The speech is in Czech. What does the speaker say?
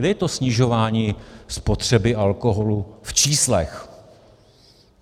Kde je to snižování spotřeby alkoholu v číslech?